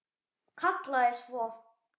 Kallaði svo